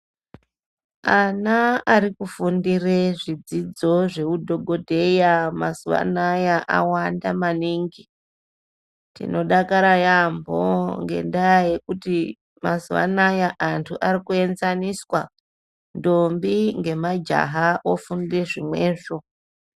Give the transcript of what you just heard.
Ana arikufundire zvidzidzo zveudhokodheya, mazuwaanaya awanda maningi .Tinodakara yamho ngendaa yekuti mazuwanaya antu arikuedzaniswa ndombi ngemajaha ofunde zvimwezvo.